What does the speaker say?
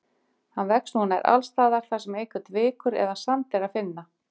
Hann vex nú nær alls staðar þar sem einhvern vikur eða sand er að finna.